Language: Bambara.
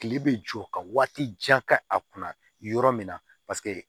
Kile bɛ jɔ ka waati jan kɛ a kunna yɔrɔ min na